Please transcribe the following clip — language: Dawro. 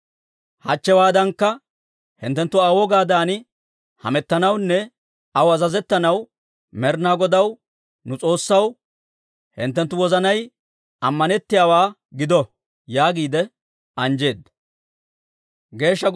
Hachchewaadankka hinttenttu Aa wogaadan hamettanawunne aw azazettanaw Med'inaa Godaw, nu S'oossaw, hinttenttu wozanay ammanettiyaawaa gido» yaagiide anjjeedda.